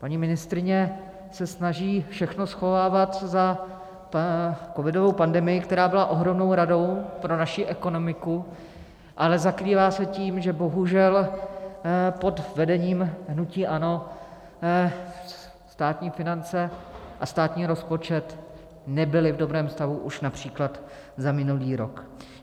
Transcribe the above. Paní ministryně se snaží všechno schovávat za covidovou pandemii, která byla ohromnou ranou pro naši ekonomiku, ale zakrývá se tím, že bohužel pod vedením hnutí ANO státní finance a státní rozpočet nebyly v dobrém stavu už například za minulý rok.